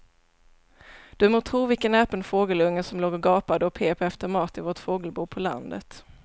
Du må tro vilken näpen fågelunge som låg och gapade och pep efter mat i vårt fågelbo på landet.